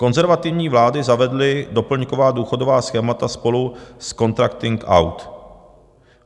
Konzervativní vlády zavedly doplňková důchodová schémata spolu s contracting out.